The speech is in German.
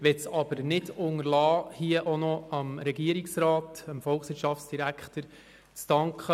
Ich möchte es aber nicht unterlassen, an dieser Stelle auch noch dem Volkswirtschaftsdirektor zu danken.